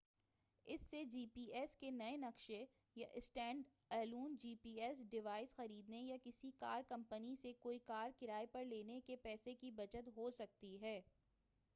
اس سے G P S کے نئے نقشے یا stand alone G P S device خریدنے یا کسی کار کمپنی سے کوئی کار کرائے پر لینے کے پیسے کی بچت ہو سکتی ہے